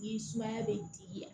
I sumaya bɛ digi